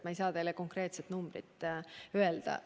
Ma ei saa teile konkreetset numbrit öelda.